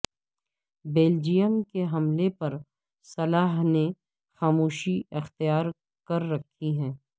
Belgium کے حلمے پر صلاح نے خاموشی اختیار کر رکھی ہے